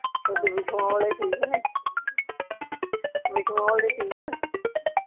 ਤੁਹਾਡੇ ਬਿਛੂਆ ਵਾਲੇ ਠੀਕ ਨੇ ਬਿਛੂਆ ਵਾਲੇ ਠੀਕ ਆ ਠੀਕ